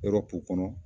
Yɔrɔ ko kɔnɔ